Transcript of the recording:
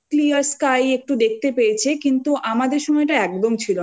সে সময়টা যদিও তাও ওরা clear sky একটু দেখতে